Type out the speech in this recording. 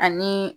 Ani